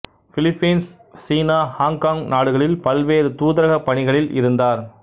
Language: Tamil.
பிலிப்பீன்சு சீனா ஆங்காங் நாடுகளில் பல்வேறு தூதரகப் பணிகளில் இருந்தார்